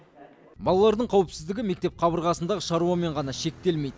балалардың қауіпсіздігі мектеп қабырғасындағы шаруамен ғана шектелмейді